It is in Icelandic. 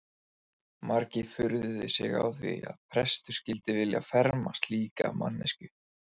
Margir furðuðu sig á því að prestur skyldi vilja ferma slíka manneskju.